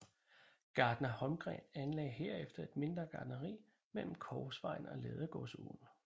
Gartner Holmgren anlagde herefter et mindre gartneri mellem Korsvejen og Ladegårdsåen